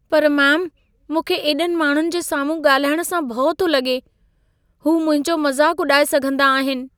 पर मेम, मूंखे एॾनि माण्हुनि जे साम्हूं ॻाल्हाइण सां भउ थो लॻे। हू मुंहिंजो मज़ाक उॾाए सघंदा आहिन।